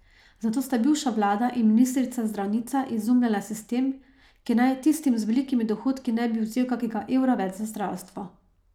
Zato sta bivša vlada in ministrica zdravnica izumljala sistem, ki naj tistim z velikimi dohodki ne bi vzel kakega evra več za zdravstvo.